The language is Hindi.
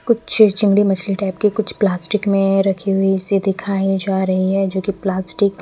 कुछ चीरचंडी मछली टाइप की कुछ प्लास्टिक में रखी हुई दिखाई जा रही है जो की प्लास्टिक --